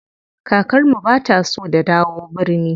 Kakar mu bata so da dawo birni.